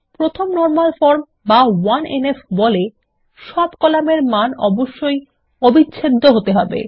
প্রথম normal form বা 1এনএফ বলে সব কলামের মান অবশ্যই অবিচ্ছেদ্য হতে হবে